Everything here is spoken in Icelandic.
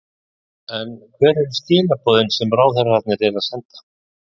En hver eru skilaboðin sem ráðherrarnir eru að senda?